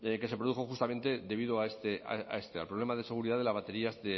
que se produjo justamente debido a este al problema de seguridad de las baterías